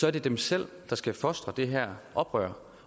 er det dem selv der skal fostre det her oprør